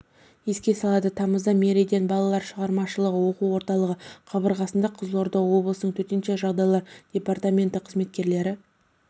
еске салады тамызда меридиан балалар шығармашылығы оқу орталығы қабырғасында қызылорда облысының төтенше жағдайлар департаменті қызметкерлері